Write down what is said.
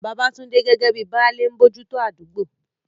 Babatunde, gẹ́gẹ́ bíi "Baale," ń bójú tó àdúgbò.